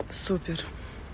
супер